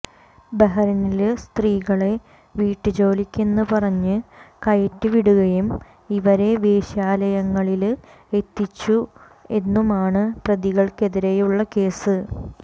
ബഹറിനില് സ്ത്രീകളെ വീട്ടുജോലിക്കെന്ന് പറഞ്ഞു കയറ്റിവിടുകയും ഇവരെ വേശ്യാലയങ്ങളില് എത്തിച്ചു എന്നുമാണ് പ്രതികള്ക്കെതിരെയുള്ള കേസ്